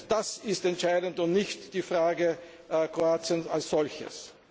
Das ist entscheidend, und nicht die Frage Kroatien als solches.